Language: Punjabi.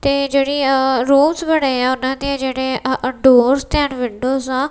ਤੇ ਜਿਹੜੀ ਆ ਰੂਸਸ ਬਣੇ ਆ ਉਹਨਾਂ ਦੇ ਜਿਹੜੇ ਆ ਡੋਰਸ ਐਂਡ ਵਿੰਡੋਜ਼ ਆ।